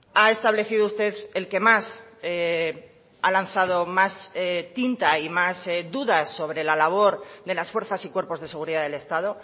ha establecido usted el que más ha lanzado más tinta y más dudas sobre la labor de las fuerzas y cuerpos de seguridad del estado